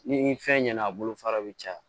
Ni fɛn ɲɛna a bolo fara bɛ caya